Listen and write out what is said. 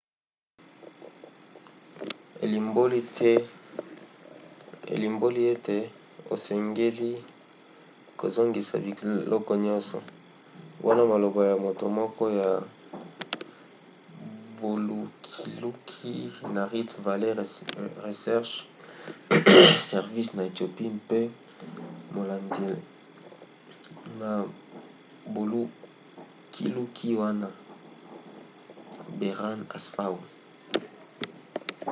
elimboli ete osengeli kozongisa biloko nyonso, wana maloba ya moto moko ya bolukiluki na rift valley research service na ethiopie mpe molandi na bolukiluki wana berhane asfaw